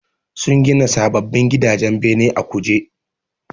Sun gina sababbin gidajen bene a Kuje